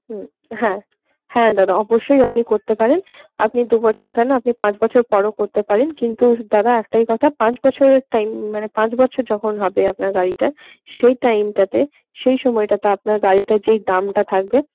হুম হ্যা হ্যা দাদা আপনি অবশ্যই আপনি করতে পারেন, আপনি দু বছর কেন আপনি পাঁচ বছর পরও করতে পারেন কিন্তু দাদা একটাই কথা পাঁচ বছরের টাইম মানে পাঁচ বছর যখন হবে আপনার গাড়িটা সেই টাইমটাতে সেই সময়টাতে আপনার গাড়িটার যেই দামটা থাকবে